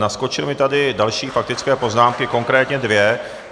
Naskočily mi tady další faktické poznámky, konkrétně dvě.